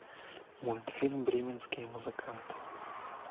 мультфильм бременские музыканты